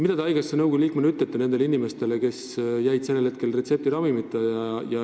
Mida te haigekassa nõukogu liikmena ütlete nendele inimestele, kes jäid retseptiravimita?